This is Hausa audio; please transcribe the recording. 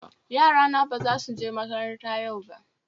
Yarana ba za su je makaranta yau ba